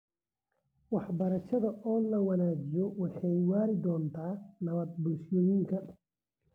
Waxbarashada oo la wanaajiyo waxay waari doontaa nabadda bulshooyinka .